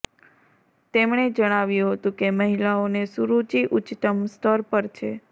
તેમણે જણાવ્યું હતું કે મહિલાઓને સુરુચિ ઉચ્ચતમ સ્તર પર છે